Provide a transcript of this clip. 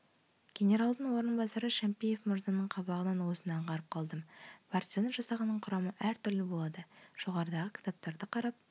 генералдың орынбасары шәмпиев мырзаның қабағынан осыны аңғарып қалдым партизан жасағының құрамы әртүрлі болады жоғарыдағы кітаптарды қарап